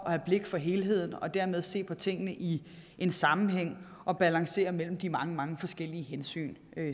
have blik for helheden og dermed se på tingene i en sammenhæng og balancere mellem de mange mange forskellige hensyn